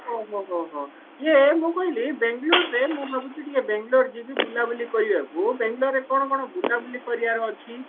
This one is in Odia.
ଓ ହୋ ହୋ ହୋ ହୋ ଇଏ ମୁଁ କହିଲି ବେଙ୍ଗେଲୋର ମୁଁ ଭାବୁଛି ଟିକେ ବେଙ୍ଗେଲୋର ଯିବି ବୁଲାବୁଲି କରିବାକୁ ବେଙ୍ଗେଲୋର ରେ କଣ ବୁଲାବୁଲି କରିବାର ଅଛି